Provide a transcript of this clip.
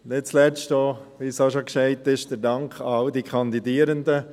Nicht zuletzt geht, wie bereits gesagt wurde, ein Dank an alle Kandidierenden.